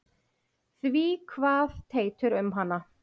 Því kvað Teitur um hana